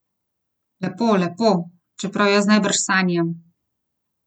Lepo, lepo, čeprav jaz najbrž sanjam.